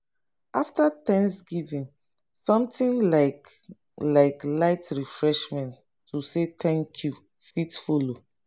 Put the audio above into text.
afta thanksgiving somtin like like light refeshment to say thank you fit follow